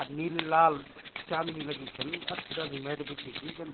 अर नीली लाल चांदनी लगी छन अच्छी खासी मैट बिछी छी जन --